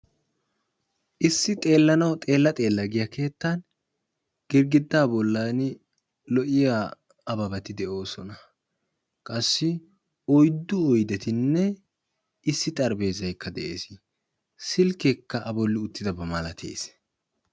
Issi xeelanawu xeela xeela giya keettan girgidaa bollan lo'iya abebati de'oosona. Qassi oyddu oydetinne issi xarphpheezaykka de'ees, silkkeekka a bolli utyidaaba malattees.